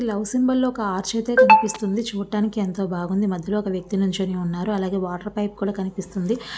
Love symbol లో ఒక arch అయితే కనిపిస్తుంది . చూడడానికి ఎంతో బాగుంది. మధ్యలో ఒక వ్యక్తి నిల్చొని ఉన్నారు. అలాగే వాటర్ పైప్ కూడా కనిపిస్తుంది.